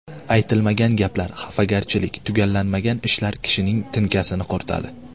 Aytilmagan gaplar, xafagarchilik, tugallanmagan ishlar kishining tinkasini quritadi.